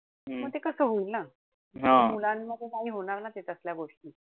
म ते कस होईल ना. मुलांमध्ये नाही होणार ना त्याच्या मधल्या गोष्टी.